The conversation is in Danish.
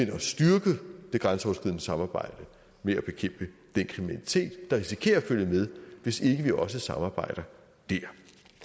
at styrke det grænseoverskridende samarbejde med at bekæmpe den kriminalitet der risikerer at følge med hvis ikke vi også samarbejder der